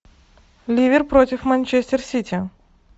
ливер против манчестер сити